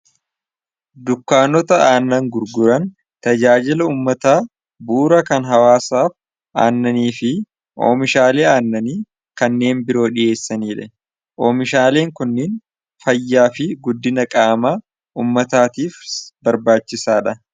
dukkaannota aannan gurguran tajaajila ummataa buura kan hawaasaaf aannanii fi oomishaalii aannanii kanneen biroo dhiheessanii dhe oomishaaliin kunniin fayyaa fi guddina qaamaa ummataatiif barbaachisaa dha